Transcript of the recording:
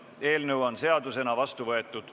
Eelnõu on seadusena vastu võetud.